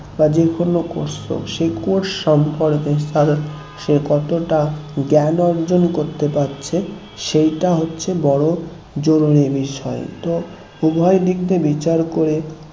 বা যে কোনো course করুক সেই course সম্পর্কে তার সে কতটা জ্ঞান অর্জন করতে পারছে সেইটা হচ্ছে বড় জরুরী বিষয় হয় তো উভয় দিক দিয়ে বিচার করে